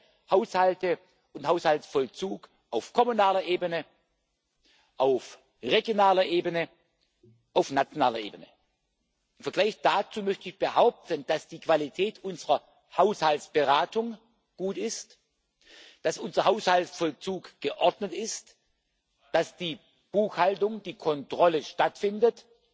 Ich kenne Haushalte und Haushaltsvollzug auf kommunaler Ebene, auf regionaler Ebene, auf nationaler Ebene. Im Vergleich dazu möchte ich behaupten, dass die Qualität unserer Haushaltsberatung gut ist, dass unser Haushaltsvollzug geordnet ist, dass die Buchhaltung, die Kontrolle stattfindet,